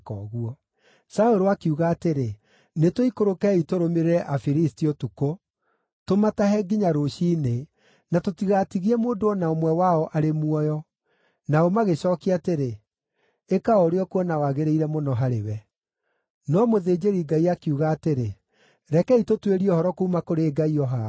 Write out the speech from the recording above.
Saũlũ akiuga atĩrĩ, “Nĩtũikũrũkei tũrũmĩrĩre Afilisti ũtukũ, tũmatahe nginya rũciinĩ, na tũtigatigie mũndũ o na ũmwe wao arĩ muoyo.” Nao magĩcookia atĩrĩ, “Ĩka o ũrĩa ũkuona wagĩrĩire mũno harĩwe.” No mũthĩnjĩri-Ngai akiuga atĩrĩ, “Rekei tũtuĩrie ũhoro kuuma kũrĩ Ngai o haha.”